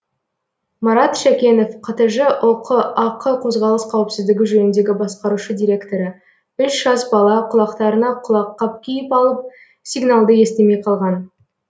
марат шәкенов қтж ұқ ақ қозғалыс қауіпсіздігі жөніндегі басқарушы директоры үш жас бала құлақтарына құлаққап киіп алып сигналды естімей қалған